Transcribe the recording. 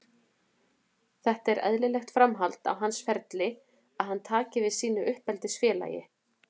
Þetta er eðlilegt framhald á hans ferli að hann taki við sínu uppeldisfélagi.